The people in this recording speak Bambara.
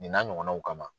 Nin n'a ɲɔgɔnnaw kama